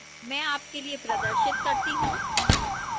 मैं आपके लिए प्रदर्शित करती हूं